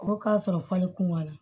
O k'a sɔrɔ fale kumana